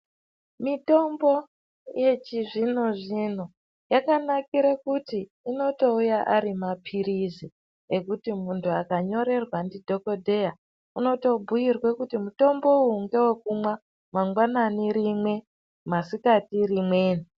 Mitombo yechizvino zvino yakanakire kuti inotouyaarimapirizi ekuti muntu akanyorerwe ndidhokodheya unotobhuyirwe kuti mutombo uyu ngewe kumwa mangwanani rimwe masikati rimweni.